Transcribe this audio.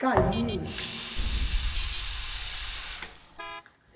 Caí.